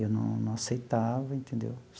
Eu não não aceitava, entendeu?